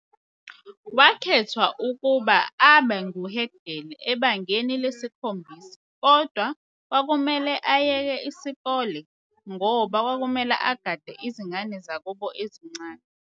Wakhethwa ukuba abangu Head Girl ebangeni lesikhombisa, kodwa kwakumele ayeke isikolo ngoba kwakumele agade izingane zakubo ezincane.